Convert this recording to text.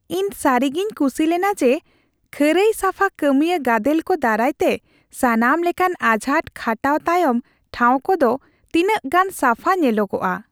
ᱤᱧ ᱥᱟᱹᱨᱤᱜᱤᱧ ᱠᱩᱥᱤ ᱞᱮᱱᱟ ᱡᱮ ᱠᱷᱟᱹᱨᱟᱹᱭ ᱥᱟᱯᱷᱟ ᱠᱟᱹᱢᱤᱭᱟᱹ ᱜᱟᱫᱮᱞ ᱠᱚ ᱫᱟᱨᱟᱭᱛᱮ ᱥᱟᱱᱟᱢ ᱞᱮᱠᱟᱱ ᱟᱡᱷᱟᱴ ᱠᱷᱟᱴᱟᱣ ᱛᱟᱭᱚᱢ ᱴᱷᱟᱣ ᱠᱚᱫᱚ ᱛᱤᱱᱟᱹᱜ ᱜᱟᱱ ᱥᱟᱯᱷᱟ ᱧᱮᱞᱚᱜᱼᱟ ᱾